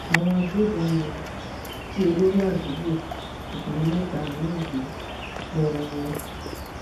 àwọn agbébọn um jí olórí àdúgbò àtàwọn mẹta míín gbé lọwọ